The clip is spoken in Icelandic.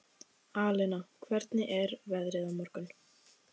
Alena, hvernig er veðrið á morgun?